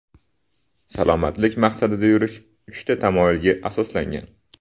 Salomatlik maqsadida yurish uchta tamoyilga asoslangan.